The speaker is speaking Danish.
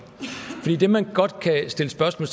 det man godt kan stille spørgsmål